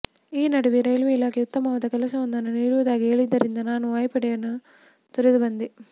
ಈ ನಡುವೆ ರೈಲ್ವೆ ಇಲಾಖೆ ಉತ್ತಮವಾದ ಕೆಲಸವೊಂದನ್ನು ನೀಡುವುದಾಗಿ ಹೇಳಿದ್ದರಿಂದ ನಾನು ವಾಯುಪಡೆಯನ್ನು ತೊರೆದು ಬಂದೆ